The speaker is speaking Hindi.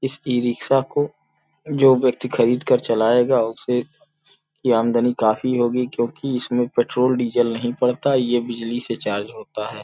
इस ई रिक्क्षा को जो व्यक्ति खरीद कर चलाएगा उसे की आमदनी काफी होगी क्योंकि इसमें पेट्रोल डीजल नहीं पड़ता ये बिजली से चार्ज होता है ।